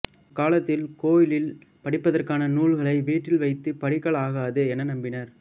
அக்காலத்தில் கோயிலில் படிப்பதற்கான நூல்களை வீட்டில் வைத்துப் படிக்கலாகாது என நம்பினர்